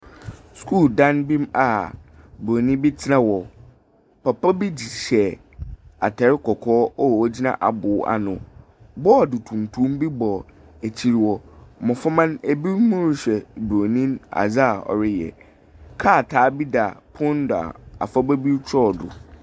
Skuul dan bi a broni be tena hɔ. Papa bi de hyɛ ataare kɔkɔɔ a ogyina abor ano. Bɔɔd tuntum be bɔ akyir hɔ. Mmɔframa, obi mo rehwɛ broni adza ɔreyɛ. Krataa be dan pon ne do afraba be kyerɛw do.